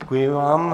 Děkuji vám.